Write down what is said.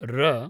र